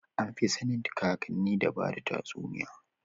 Anfi sanin kakanni da bada tatsuniya